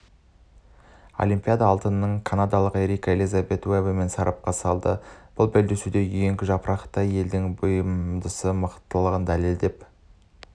олимпиада алтынын канадалық ерика елизабет уэбемен сарапқа салды бұл белдесуде үйеңкі жапырақты елдің бұрымдысы мықтылығын дәлелдеп